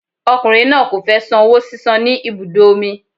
Ọkùnrin náà kò fẹ san owó sísan ní ibùdó omi.